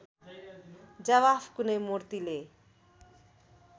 जवाफ कुनै मुर्तिले